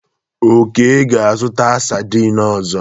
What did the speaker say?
Oke ga-azụta saidin ọzọ.